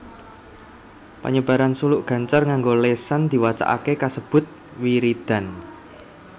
Panyebaran suluk gancar nganggo lésan diwacakaké kasebut wiridan